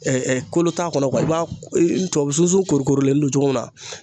kolo t'a kɔnɔ i b'a n tubabu sunsun korikorilenni don cogo min na